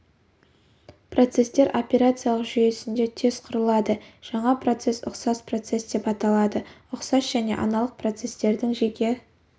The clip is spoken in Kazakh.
процестер операциялық жүйесінде тез құрылады жаңа процесс ұқсас процесс деп аталады ұқсас және аналық процестердің жеке